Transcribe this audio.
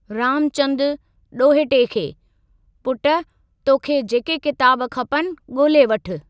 रामचंदु (ॾोहिटे खे) : पुटु, तोखे जेके किताब खपनि, ॻोल्हे वठु।